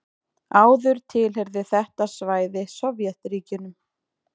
Áður tilheyrði þetta svæði Sovétríkjunum.